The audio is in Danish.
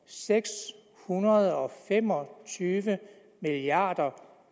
seks hundrede og fem og tyve milliard